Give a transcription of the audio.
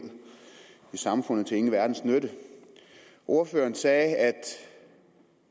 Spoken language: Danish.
i samfundet til ingen verdens nytte ordføreren sagde at